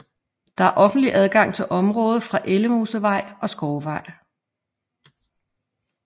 Der er offentlig adgang til området fra Ellemosevej og Skovvej